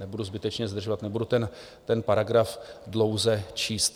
Nebudu zbytečně zdržovat, nebudu ten paragraf dlouze číst.